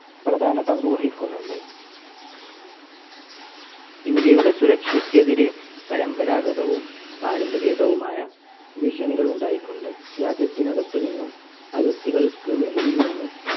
പ്രധാന പങ്കുവഹിക്കുന്നുണ്ട്. ഇന്ത്യയുടെ സുരക്ഷയ്ക്ക് എതിരെ പരമ്പരാഗതവും പാരമ്പര്യേതര വുമായ ഭീഷണികൾ ഉണ്ടായിട്ടുണ്ട്. രാജ്യത്തിനകത്തു നിന്നും അതിർത്തികൾക്ക് വെളിയിൽ നിന്നും